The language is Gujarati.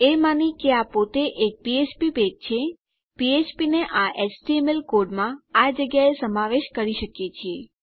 એ માની કે આ પોતે એક ફ્ફ્પ પેજ છે ફ્ફ્પ ને આ એચટીએમએલ કોડમાં આ જગ્યાએ સમાવેશ કરી શકીએ છીએ